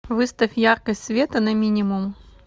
выставь яркость света на минимум